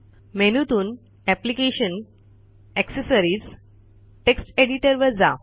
मेनूतून application gtaccessories gt text editor वर जा